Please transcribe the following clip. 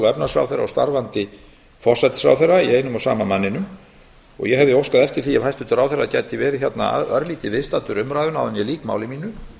efnahagsráðherra og starfandi forsætisráðherra í einum og sama manninum ég hefði óskað eftir því að hæstvirtur ráðherra gæti verið hér örlítið viðstaddur umræðuna áður en ég lýk máli mínu því